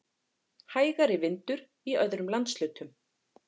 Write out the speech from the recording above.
Hægari vindur í öðrum landshlutum